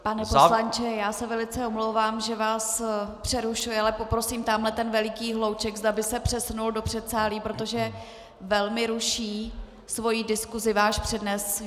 Pane poslanče, já se velice omlouvám, že vás přerušuji, ale poprosím tamhle ten veliký hlouček, zda by se přesunul do předsálí, protože velmi ruší svou diskusí váš přednes.